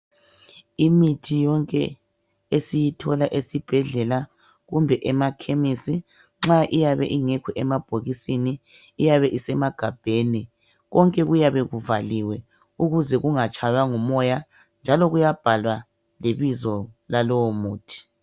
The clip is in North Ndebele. Imithi yonke esiyithola esibhedlela kumbe emakhemisi nxa iyabe ingekho emabhokisini iyabe isemagabheni konke kuyabe kuvaliwe ukuze kungatshaywa ngumoya njalo kuyabhalwa lebizo lalowo muthi.